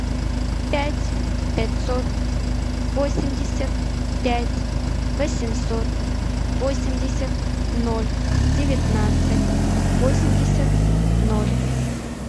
пять пятьсот восемьдесят пять восемьсот восемьдесят ноль девятнадцать восемьдесят ноль